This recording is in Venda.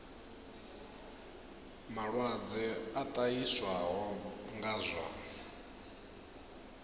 malwadze a ṱahiswaho nga zwa